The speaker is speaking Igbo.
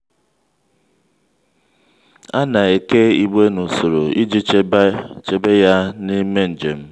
a na-eke igbe n’usoro iji chebe ha n’ime njem.